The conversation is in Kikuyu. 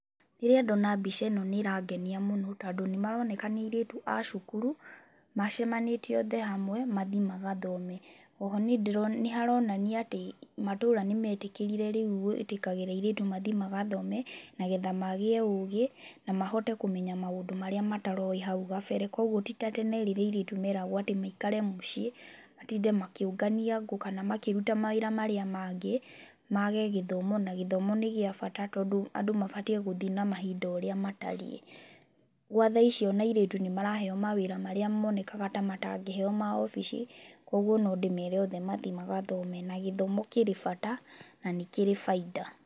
Rĩrĩa ndona mbica ĩĩno nĩĩrangenia mũno tondũ nĩ maroneka nĩ airĩtu a cukuru, macemanĩtie oothe hamwe mathiĩ magathome, oho nĩharonania atĩ matũũra nĩ metĩkĩrire rĩu gwĩtĩkagĩra airĩtu mathiĩ magathome nagetha magĩe ũũgĩ na mahote kũmenya maũndũ marĩa mataroĩ hau gabere, koguo ti ta tene rĩrĩa airĩtu meragwo atĩ maikare mũciĩ, matinde makĩũngania ngũ kana makĩruta mawĩra marĩa mangĩ ,maage gĩthomo na gĩthomo nĩ gĩa bata tondũ andũ mabatiĩ gũthiĩ na mahinda ũrĩa matariĩ. gwa thaa ici ona airĩtu nĩmaraheeo mawĩra marĩa moonekaga ta matangĩheeo ma obici koguo no ndĩmeere othe mathiĩ magathoome na gĩthoomo kĩrĩ bata na nĩkĩrĩ baida.